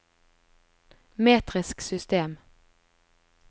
metrisk system